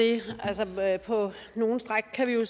det på nogle stræk kan vi jo